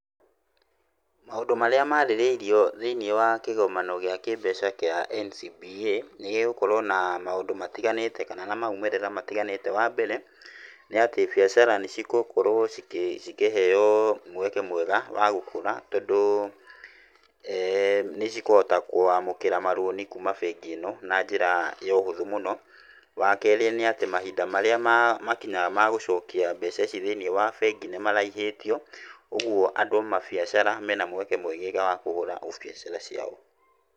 Maũndũ marĩa marĩrĩirio thĩinĩ wa kĩgomano gĩa kĩbeca kĩa NCBA, nĩ gĩgũkorwo na maũndũ matiganĩte, kana na maimĩrĩra matiganĩte, wambere, nĩ atĩ biacara nĩ cigũkorwo cikĩ cikĩheyo mweke mwega wa gũkũra ,tondũ eeh nĩ cikũhota kwamũkĩra maroni kuma bengi ĩno na njĩra ya ũhũthũ mũno, wakerĩ nĩ atĩ mahinda marĩa makinyaga magũcokia mbeca ici thĩinĩ wa bengi nĩ maraihĩtio, ũguo andũ amabiacara, mena mweke mwegega wa kũhũra ũbiacara wao.